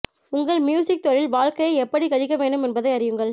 உங்கள் மியூசிக் தொழில் வாழ்க்கையை எப்படி கழிக்க வேண்டும் என்பதை அறியுங்கள்